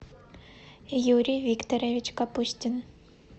юрий викторович капустин